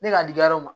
Ne ka digi yɔrɔ